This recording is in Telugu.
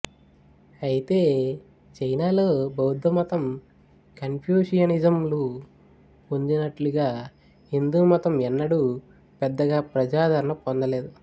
అయితే చైనాలో బౌద్ధమతం కన్ఫ్యూషియనిజం లు పొందినట్లుగా హిందూమతం ఎన్నడూ పెద్దగా ప్రజాదరణ పొందలేదు